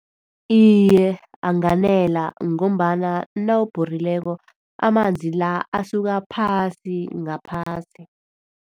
Iye, anganela ngombana nawubhorileko amanzi la asuka phasi ngaphasi.